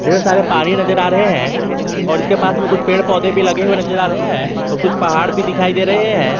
ढेर सारे अपनी नजर आ रहे हैं और उसके पास में कुछ पेड़ पौधे भी लगे हुए नजर आ रहे हैं और कुछ पहाड़ भी दिखाई दे रहे हैं।